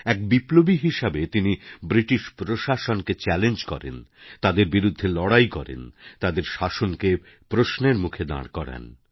এক বিপ্লবী হিসাবেতিনি ব্রিটিশ প্রশাসনকে চ্যালেঞ্জ করেন তাদের বিরুদ্ধে লড়াই করেন তাদের শাসনকেপ্রশ্নের মুখে দাঁড় করান